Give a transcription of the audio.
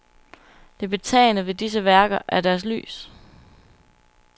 Det betagende ved disse værker er deres lys.